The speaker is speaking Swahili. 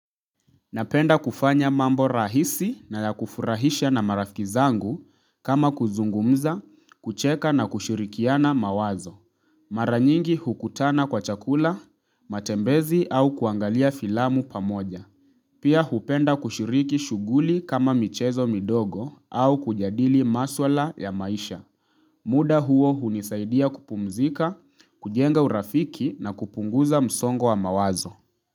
Napenda kufanya mambo rahisi na ya kufurahisha na marafiki zangu kama kuzungumza, kucheka na kushirikiana mawazo. Mara nyingi hukutana kwa chakula, matembezi au kuangalia filamu pamoja. Pia hupenda kushiriki shughuli kama michezo midogo au kujadili maswala ya maisha. Muda huo hunisaidia kupumzika, kujenga urafiki na kupunguza msongo wa mawazo.